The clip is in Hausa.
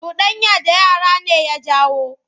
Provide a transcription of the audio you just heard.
Cuɗanya da yara ne ya jawo.